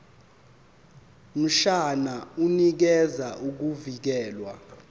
mshwana unikeza ukuvikelwa